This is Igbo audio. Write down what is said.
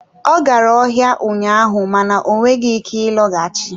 Ọ gara ọhịa ụnyaahụ mana ọ nweghị ike ịlọghachi.